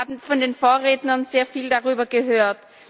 Wir haben von den Vorrednern sehr viel darüber gehört.